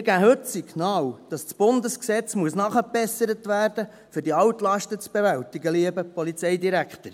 Wir geben heute das Signal, dass das Bundesgesetz nachgebessert werden muss, um die Altlasten zu bewältigen, lieber Polizeidirektor.